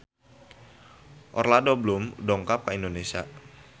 Orlando Bloom dongkap ka Indonesia